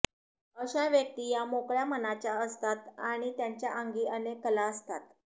अशा व्यक्ती या मोकळ्या मनाच्या असतात आणि त्यांच्या अंगी अनेक कला असतात